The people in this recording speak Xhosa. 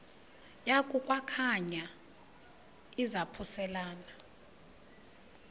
yaku khankanya izaphuselana